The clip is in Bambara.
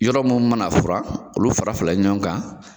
Yɔrɔ mun mana fura olu fara fila ɲɔgɔn kan.